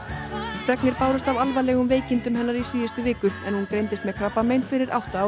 fregnir bárust af alvarlegum veikindum hennar í síðustu viku en hún greindist með krabbamein fyrir átta árum